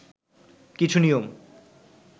কিছু নিয়ম